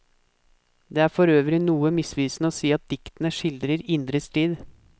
Det er for øvrig noe misvisende å si at diktene skildrer indre strid.